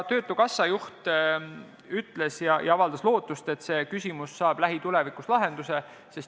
Töötukassa juht avaldas lootust, et see küsimus saab lähitulevikus lahenduse.